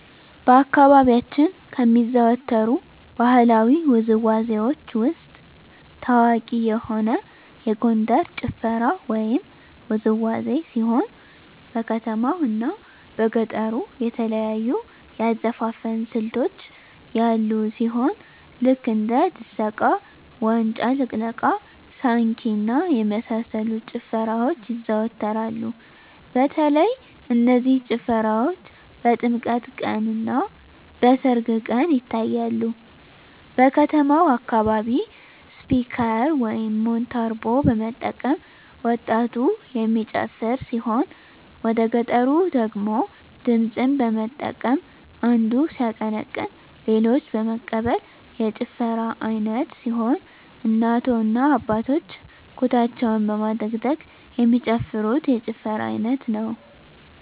በአካባቢያችን ከሚዘወተሩ ባህለዊ ውዝዋዜዎች ውስጥ ታዋቂ የሆነ የጎንደር ጭፈራ ወይም ውዝዋዜ ሲሆን በከተማው እና በገጠሩ የተለያዩ የአዘፋፈን ስልቶች ያሉ ሲሆን ልክ እንደ ድሰቃ; ዋጫ ልቅለቃ; ሳንኪ እና የመሳሰሉት ጭፈራዎች ይዘዎተራሉ በተለይ እነዚህ ጭፈራዎች በጥምቀት ቀን; እና በሰርግ ቀን ይታያሉ። በከተማው አካባቢ ስፒከር (ሞንታርቦ) በመጠቀም ወጣቱ የሚጨፍር ሲሆን ወደገጠሩ ደግሞ ድምፅን በመጠቀም አንዱ ሲያቀነቅን ሌሎች በመቀበል የጭፈራ አይነት ሲሆን እናቶ እና አባቶች ኩታቸውን በማደግደግ የሚጨፍሩት የጭፈራ አይነት ነው።